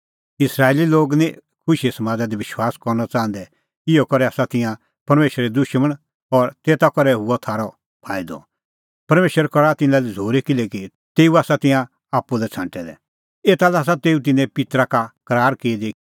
इस्राएली लोग निं खुशीए समादा दी विश्वास करनअ च़ाहंदै इहअ करै आसा तिंयां परमेशरे दुशमण और तेता करै हुअ थारअ फाईदअ परमेशर करा तिन्नां लै झ़ूरी किल्हैकि तेऊ आसा तिंयां आप्पू लै छ़ांटै दै एता लै आसा तेऊ तिन्नें पित्तरा का करार की दी